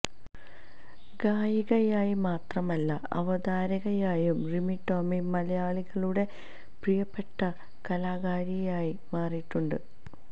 ഗായികയായി മാത്രമല്ല അവതാരകയായും റിമി ടോമി മലയാളികളുടെ പ്രിയപ്പെട്ട കലാകാരിയായി മാറിയിട്ടുണ്ട്